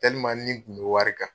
Tɛlim n ni kun be wari kan